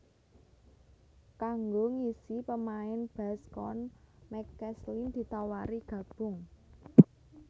Kanggo ngisi pémain bass Cone McCaslin ditawari gabung